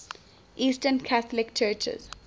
eastern catholic churches